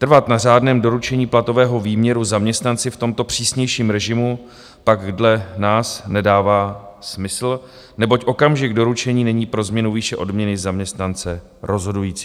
Trvat na řádném doručení platového výměru zaměstnanci v tomto přísnějším režimu pak dle nás nedává smysl, neboť okamžik doručení není pro změnu výše odměny zaměstnance rozhodující.